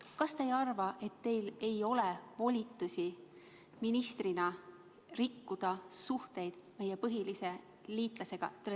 Kas te ei arva, et teil ei ole ministrina volitusi rikkuda suhteid meie põhilise liitlasega?